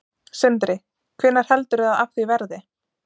Sindri: Hvenær heldurðu að af því verði?